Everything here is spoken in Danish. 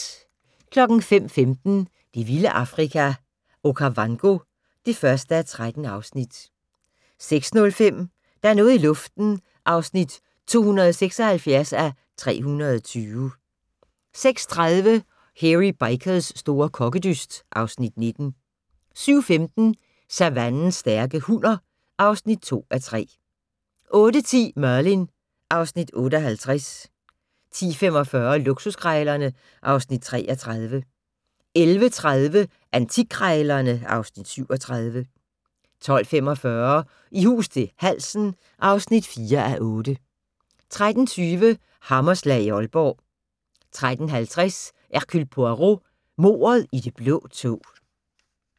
05:15: Det vilde Afrika - Okavango (1:13) 06:05: Der er noget i luften (276:320) 06:30: Hairy Bikers' store kokkedyst (Afs. 19) 07:15: Savannens stærke hunner (2:3) 08:10: Merlin (Afs. 58) 10:45: Luksuskrejlerne (Afs. 33) 11:30: Antikkrejlerne (Afs. 37) 12:45: I hus til halsen (4:8) 13:20: Hammerslag i Aalborg 13:50: Hercule Poirot: Mordet i det blå tog